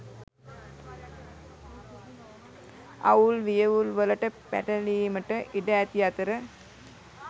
අවුල් වියවුල්වලට පැටලීමට ඉඩ ඇති අතර